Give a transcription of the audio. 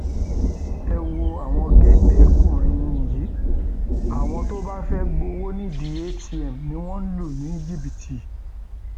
ẹ wo àwọn géńdékùnrin yìí àwọn tó bá fẹẹ gbowó nídìí atm ni wọn ń lù ní jìbìtì